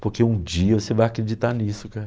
Porque um dia você vai acreditar nisso, cara.